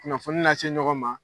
Kunnafoni na se ɲɔgɔn ma